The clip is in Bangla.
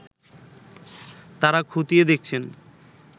তারা খতিয়ে দেখছেন